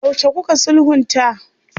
Yaushe kuka sulhunta?